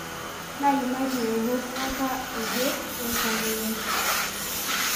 Naimaitie wo kuaka oje loltamoyia.